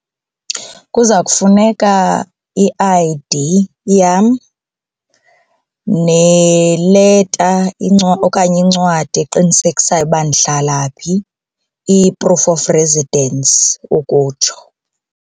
Kuzawufuneka i-I_D yam neleta okanye incwadi eqinisekisayo ukuba ndihlala phi, i-proof of residence ukutsho.